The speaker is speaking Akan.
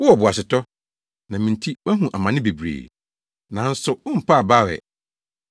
Wowɔ boasetɔ, na me nti woahu amane bebree, nanso wompaa abaw ɛ.